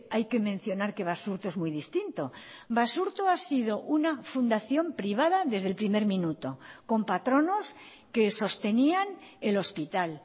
hay que mencionar que basurto es muy distinto basurto ha sido una fundación privada desde el primer minuto con patronos que sostenían el hospital